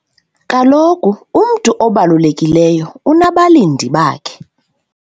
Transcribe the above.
Kaloku umntu obalulekileyo unabalindi bakhe.